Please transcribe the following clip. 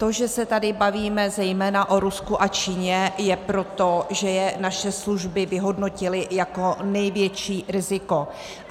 To, že se tady bavíme zejména o Rusku a Číně, je proto, že je naše služby vyhodnotily jako největší riziko.